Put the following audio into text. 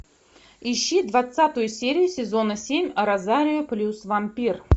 ищи двадцатую серию сезона семь розарио плюс вампир